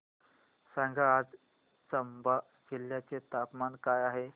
सांगा आज चंबा जिल्ह्याचे तापमान काय आहे